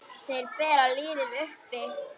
Þeir bera liðið uppi.